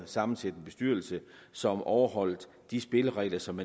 sammensætte en bestyrelse som overholder de spilleregler som